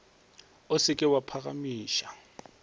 o se ke wa phagamiša